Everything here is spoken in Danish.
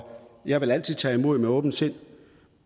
jeg vil altid tage imod med åbent sind